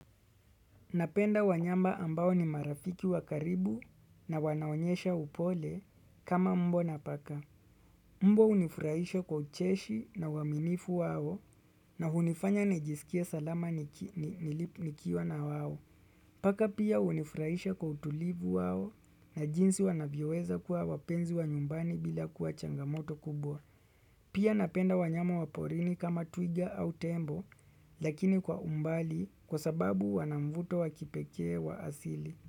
Napenda wanyama ambao ni marafiki wa karibu na wanaonyesha upole kama mbwa na paka. Mbwa hunifurahisha kwa ucheshi na uaminifu wao na hunifanya nijisikie salama nikiwa na wao. Paka pia hunifurahisha kwa utulivu wao na jinsi wanavyoweza kuwa wapenzi wa nyumbani bila kuwa changamoto kubwa. Pia napenda wanyama wa porini kama twiga au tembo, lakini kwa umbali kwa sababu wanamvuto wa kipekee wa asili.